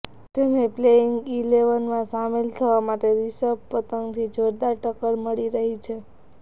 તેને પ્લેઇંગ ઇલેવનમાં સામેલ થવા માટે રિષભ પંતથી જોરદાર ટક્કર મળી રહી છે